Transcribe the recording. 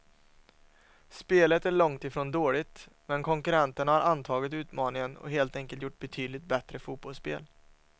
Spelet är långt ifrån dåligt, men konkurrenterna har antagit utmaningen och helt enkelt gjort betydligt bättre fotbollsspel.